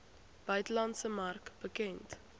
buitelandse mark bekend